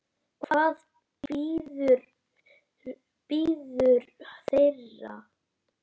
Hvað bíður þeirra?